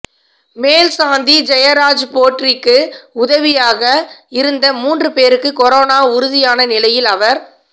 மேல்சாந்தி ஜெயராஜ்போற்றிக்கு உதவியாக இருந்த மூன்று பேருக்கு கொரோனா உறுதியான நிலையில் அவர்